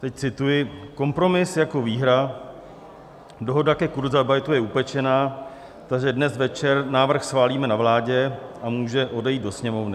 Teď cituji: "Kompromis jako výhra, dohoda ke kurzarbeitu je upečena, takže dnes večer návrh schválíme na vládě a může odejít do Sněmovny.